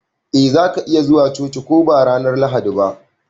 Eh za ka iya zuwa coci ko ba ranar Lahadi ba.